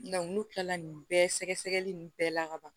n'u kilala nin bɛɛ sɛgɛsɛgɛli nun bɛɛ la ka ban